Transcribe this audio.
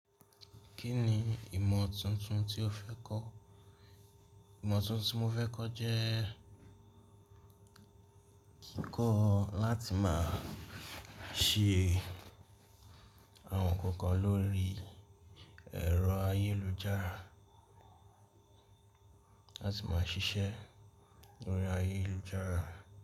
Kí ni ìmọ̀ tuntun tí o fẹ́ kọ́? Ìmọ̀ tuntun tí mo fẹ́ kọ́ jẹ́ kíkọ́ láti máa ṣe àwọn kankan lórí ẹ̀rọ ayélujára, láti máa ṣiṣẹ́ lórí ayélujára.